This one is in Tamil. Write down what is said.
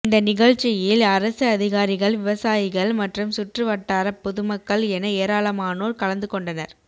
இந்த நிலழ்சியில் அரசு அதிகாரிகள் விவசாயிகள் மற்றும் சுற்று வட்டார பொதுமக்கள் என ஏராலமானோர் கலந்துகொண்டனர்